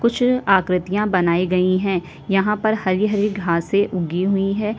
कुछ आकृतियाँ बनाई गई हैं। यहाँ पर हरी-हरी घासे उगी हुई हैं।